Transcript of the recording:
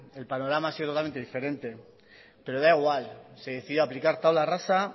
el panorama ha sido totalmente diferente pero da igual se decidió aplicar tabla rasa